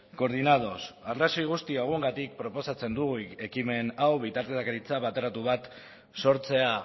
coordinados arrazoi guzti hauengatik proposatzen dugu ekimen hau bitartekaritza bateratu bat sortzea